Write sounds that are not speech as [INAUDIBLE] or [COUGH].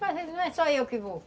[UNINTELLIGIBLE] Não é só eu que vou.